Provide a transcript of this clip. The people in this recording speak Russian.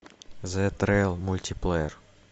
зе трейл мультиплеер